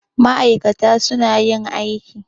Ma'ikata suna yajin aiki.